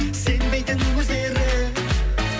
сенбейтін өздері